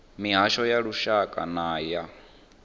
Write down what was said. mihasho ya lushaka na ya